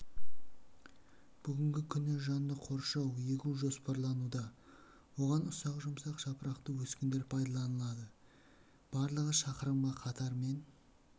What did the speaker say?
бүгінгі күні жанды қоршау егу жоспарлануда оған ұсақ жұмсақ жапырақты өскіндер пайдаланылады барлығы шақырымға қатармен